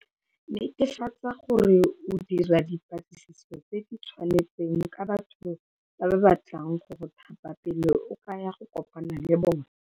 Netefatsa gore o dira dipatlisiso tse di tseneletseng ka batho ba ba batlang go go thapa pele o ka ya go kopana le bona.